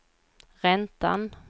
räntan